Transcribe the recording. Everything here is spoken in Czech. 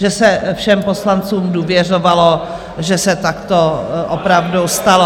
Že se všem poslancům důvěřovalo, že se takto opravdu stalo.